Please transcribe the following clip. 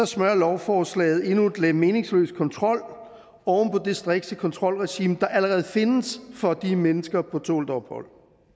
smører lovforslaget endnu et lag meningsløs kontrol oven på det strikse kontrolregime der allerede findes for de mennesker på tålt ophold